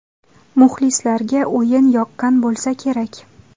Muxlislarga o‘yin yoqqan bo‘lsa kerak.